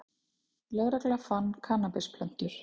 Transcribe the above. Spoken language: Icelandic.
Lögregla fann kannabisplöntur